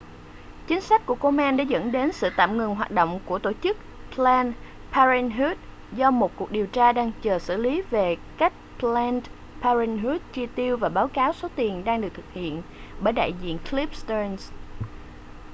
chính sách của komen đã dẫn đến sự tạm ngừng hoạt động của tổ chức planned parenthood do một cuộc điều tra đang chờ xử lý về cách planned parenthood chi tiêu và báo cáo số tiền đang được thực hiện bởi đại diện cliff stearns